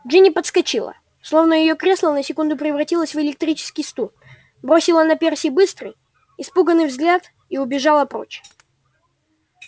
джинни подскочила словно её кресло на секунду превратилось в электрический стул бросила на перси быстрый испуганный взгляд и убежала прочь